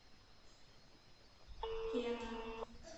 кена